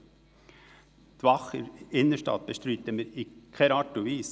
Wir bestreiten die Wache in der Innenstadt in keiner Art und Weise.